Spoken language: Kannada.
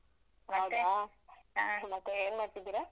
ಮತ್ತೆ ಏನ್ ಮಾಡ್ತಿದ್ದೀರ?